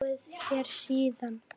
Hefur hann búið hér síðan.